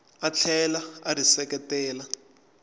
a tlhela a ri seketela